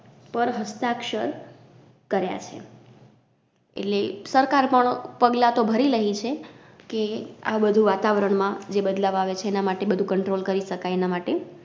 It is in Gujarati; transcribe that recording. પર હસ્તાક્ષર કર્યા છે. એટલે સરકાર પણ પગલાં તો ભરી લહી છે કે, આબધુ વાતાવરણ માં જે બદલાવ આવે છે એનમાટે બધુ Control કરી શ કાય એના માટે.